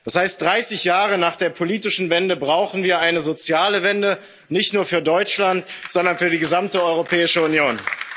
Das heißt 30 Jahre nach der politischen Wende brauchen wir eine soziale Wende, nicht nur für Deutschland, sondern für die gesamte Europäische Union.